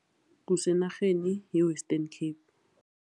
Kusenarheni ye-Western Cape.